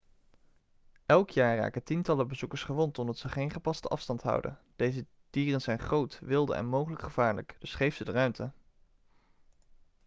elk jaar raken tientallen bezoekers gewond omdat ze geen gepaste afstand houden deze dieren zijn groot wilde en mogelijk gevaarlijk dus geef ze de ruimte